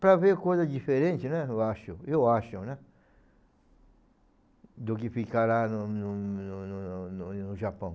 Para ver coisas diferentes, né, eu acho, eu acho, né, do que ficar lá no no no no no no no Japão.